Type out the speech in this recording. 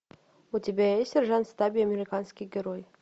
у тебя есть сержант стабби американский герой